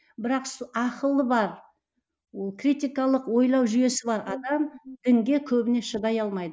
бірақ ақылы бар ол критикалық ойлау жүйесі бар адам дінге көбіне шыдай алмайды